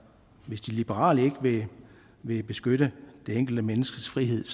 hvis de liberale ikke vil beskytte det enkelte menneskes frihed